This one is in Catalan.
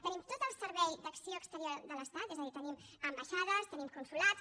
tenim tot el servei d’acció exterior de l’estat és a dir tenim ambaixades tenim consolats